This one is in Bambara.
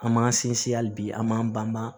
An m'an sinsin hali bi an m'an banba